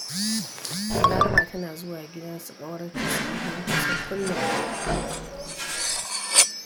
Balaraba tana zuwa gidan su ƙawarta su yi hira kusan kullum.